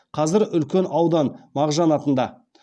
қазір үлкен аудан мағжан атында